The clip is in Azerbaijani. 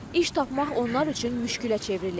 İş tapmaq onlar üçün müşkülə çevrilir.